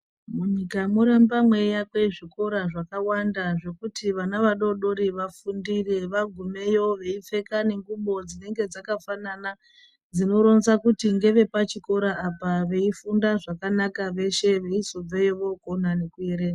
Munyika moramba meyivakwa zvikora zvakawanda zvekuti vana vadodori vafundire ,vagumeyo veipfeka nengubo dzinonga dzakafanana dzinoronza kuti ngevepachikora apa ,veifunda zvakanaka veshe vechizobveyo vokona nekuerenga .